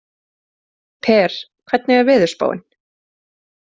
Per, hvernig er veðurspáin?